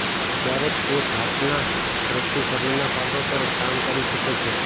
ક્યારેક તે ઘાતના સ્રોતથી શરીરના ભાગો પર કામ કરી શકે છે